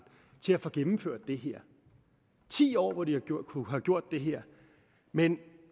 til at få gennemført det her ti år hvor de kunne have gjort det her men